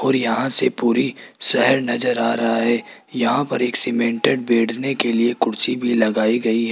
और यहां से पूरी शहर नजर आ रहा है यहां पर एक सीमेंटेड बैठने के लिए कुर्सी भी लगाई गई है।